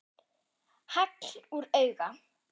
Hagl úr auga.